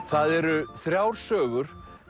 það eru þrjár sögur